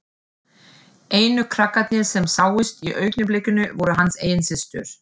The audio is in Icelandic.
Einu krakkarnir sem sáust í augnablikinu voru hans eigin systur.